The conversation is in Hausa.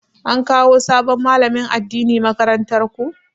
An kawo sabon malamin addini makarantar ku?